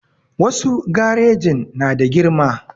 Wasu garejin na da girma